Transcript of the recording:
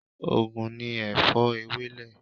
Ògùn ni Èfó Ewèlè